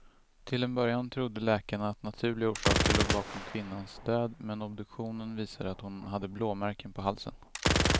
Till en början trodde läkarna att naturliga orsaker låg bakom kvinnans död, men obduktionen visade att hon hade blåmärken på halsen.